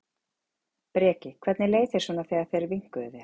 Breki: Hvernig leið þér svona þegar þeir vinkuðu þér?